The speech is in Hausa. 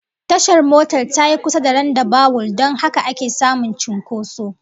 Tashar motar tayi kusa da randabawul don haka ake samun cinkoso